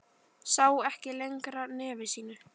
Sá ekki lengra nefi sínu.